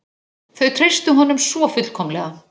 Þau treystu honum svo fullkomlega.